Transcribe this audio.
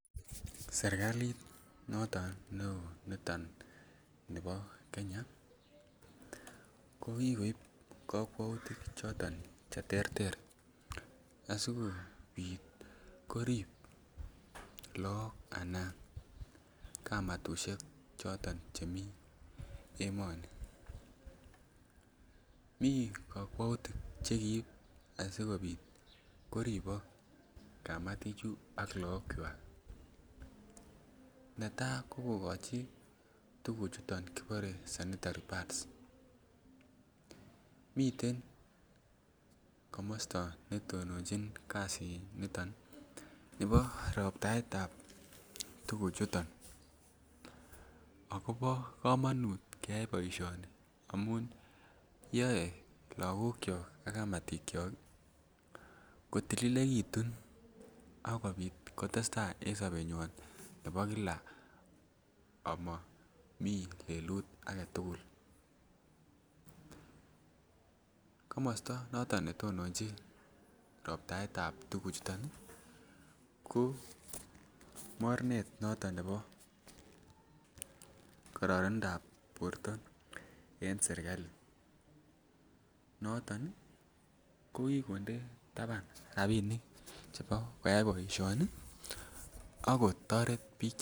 Serkalit noton ne oo niton nebo Kenya ko kigoib kokwoutik choton che terter asikopit korib look ana kamatushek choton che mii emoni. Mii kokwoutik asikopit koribok kamatichi ak lookwak. Netaa ko kogochi tuguchuton kibore sanitary pads, miten komosto ne tononjin kazi niton nebo roptaetab tuguchuton akobo komonut keyay boisioni amun yoe logokyok ak kamatiyok kotililekitun ako testa en sobenywan nebo Kila omo mii lelut agetugul. Komosto noton ne tononjin roptaetab tuguchuton ko mornet noton nebo kororonindap borto en serkali noton ko kokinde taban rabinik chebo koyay boisioni ak kotoret biik